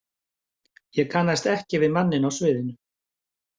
Ég kannaðist ekki við manninn á sviðinu.